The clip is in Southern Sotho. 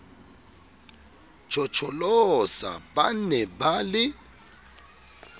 tjhotjholosa ba ne ba le